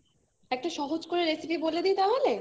একটা সহজ করে recipe বলে দিই তাহলে